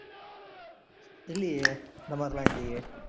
இல்லையே அந்த மாதிரி எல்லாம் இல்லையே